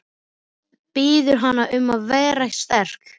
Biður hana um að vera sterk.